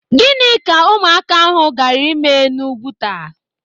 Gịnị ka ụmụaka ahụ gaara ịme n'Úgwùtà?